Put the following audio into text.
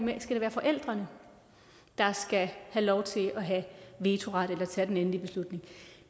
det skal være forældrene der skal have lov til at have vetoret eller tage den endelige beslutning